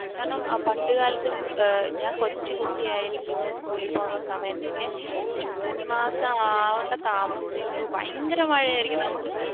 കാരണം പണ്ട് കാലത്തു ഞാൻ കൊച്ചുകുട്ടി ആയിരിക്കുമ്പോൾ school ൽ പോകുന്ന സമയത്തൊക്കെ ജൂൺ മാസം ആകേണ്ട താമസമുള്ളൂ ഭയങ്കര മഴയായിരിക്കും, നമുക്ക്